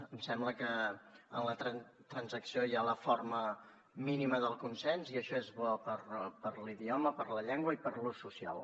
em sembla que en la transacció hi ha la forma mínima del consens i això és bo per a l’idioma per a la llengua i per a l’ús social